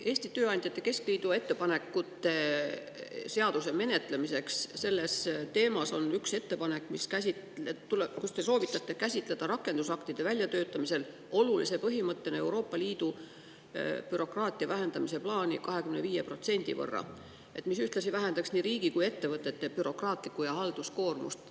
Eesti Tööandjate Keskliidu ettepanekutes seaduse kohta on üks ettepanek, kus te soovitate käsitleda rakendusaktide väljatöötamisel olulise põhimõttena Euroopa Liidu plaani vähendada bürokraatiat 25% võrra, mis ühtlasi vähendaks nii riigi kui ka ettevõtete bürokraatlikku ja halduskoormust.